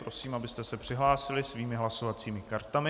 Prosím, abyste se přihlásili svými hlasovacími kartami.